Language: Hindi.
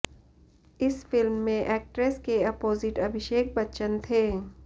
इस फिल्म में एक्ट्रेस के अपोजिट अभिषेक बच्चन थे